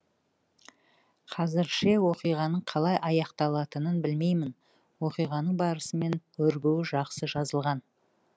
қазірше оқиғаның қалай аяқталатынын білмеймін оқиғаның барысы мен өрбуі жақсы жазылған